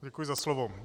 Děkuji za slovo.